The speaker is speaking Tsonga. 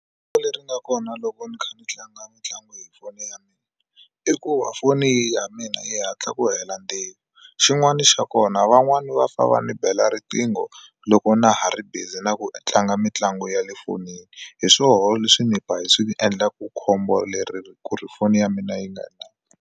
leri nga kona loko ni kha ni tlanga mitlangu hi foni ya mina i ku va foni ya mina yi hatla ku hela ndzilo xin'wana xa kona van'wani va famba ni bela riqingho loko na ha ri busy na ku tlanga mitlangu ya le fonini hi swoho leswi ni ba hi swi endlaku khombo leri ku ri foni ya mina yi nga ha.